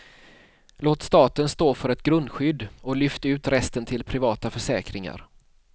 Låt staten stå för ett grundskydd och lyft ut resten till privata försäkringar.